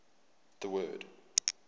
the word